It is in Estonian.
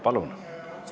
Palun!